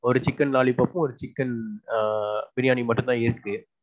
ஒரு chicken lollypop ஒரு chicken ஆ. biriyani மட்டும் தான் இருக்கு.